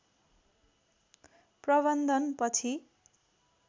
प्रबन्धन पछि